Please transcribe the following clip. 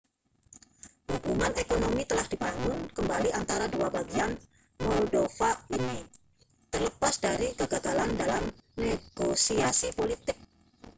hubungan ekonomi telah dibangun kembali antara dua bagian moldova ini terlepas dari kegagalan dalam negosiasi politik